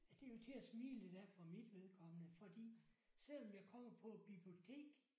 Det er jo til at smile lidt af for mit vedkommende fordi selvom jeg kommer på et bibliotek